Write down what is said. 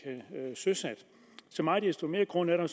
søsat så meget desto mere grund er der